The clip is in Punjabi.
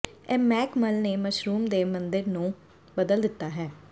ਇਹ ਮੈਕ ਮੱਲ ਨੇ ਮਸ਼ਰੂਮ ਦੇ ਮੰਦਿਰ ਨੂੰ ਬਦਲ ਦਿੱਤਾ ਹੈ